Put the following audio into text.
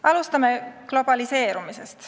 Alustame globaliseerumisest.